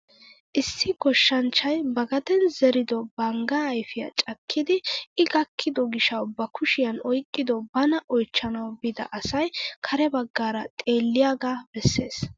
Issi goshshanchchay ba gaden zerido banggaa ayfiyaa cakkidi i gakkido giishshawu ba kushshiyaan oyqqido bana oychchanwu biida asay kare baggaara xeelliyaaga besses!